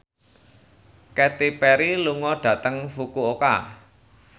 Katy Perry lunga dhateng Fukuoka